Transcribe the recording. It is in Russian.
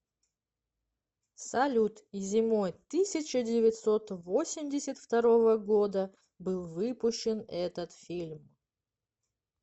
салют и зимой тысяча девятьсот восемьдесят второго года был выпущен этот фильм